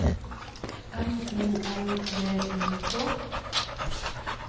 M O L V I K